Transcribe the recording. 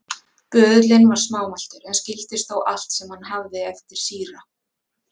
Böðullinn var smámæltur, en skildist þó allt sem hann hafði eftir síra